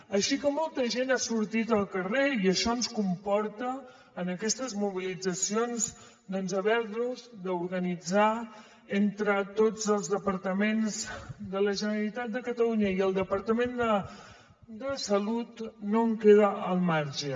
així que molta gent ha sortit al carrer i això ens comporta en aquestes mobilitzacions haver nos d’organitzar entre tots els departaments de la generalitat de catalunya i el departament de salut no en queda al marge